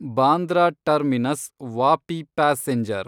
Bandra terminus Vapi passenger